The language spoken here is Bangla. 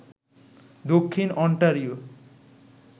দক্ষিণ অন্টারিও